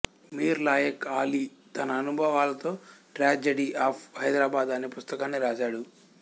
మీర్ లాయక్ అలీ తన అనుభవాలతో tragedy of Hyderabad అనే పుస్తకాన్ని రాశాడు